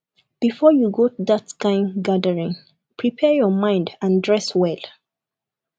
before you go that kind gathering prepare your mind and dress well